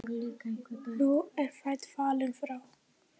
Nú er frændi fallinn frá.